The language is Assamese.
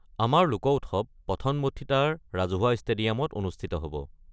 আমাৰ লোক উৎসৱ পথনমঠিত্তাৰ ৰাজহুৱা ষ্টেডিয়ামত অনুষ্ঠিত হ'ব।